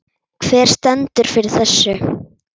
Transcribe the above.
Hver stendur fyrir þessu?